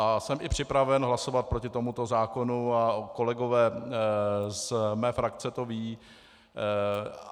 A jsem i připraven hlasovat proti tomuto zákonu a kolegové z mé frakce to vědí.